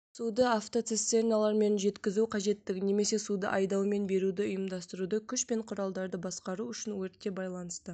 суды автоцистерналармен жеткізу қажеттігін немесе суды айдаумен беруді ұйымдастыруды күш пен құралдарды басқару үшін өртте байланысты